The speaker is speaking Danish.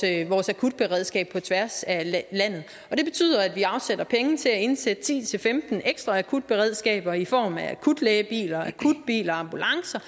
akutberedskab på tværs af landet det betyder at vi afsætter penge til at indsætte ti til femten ekstra akutberedskaber i form af akutlægebiler akutbiler og ambulancer